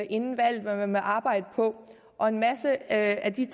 inden valget om hvad man ville arbejde på og en masse af de